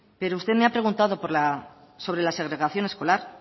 pero usted me ha preguntado sobre la segregación escolar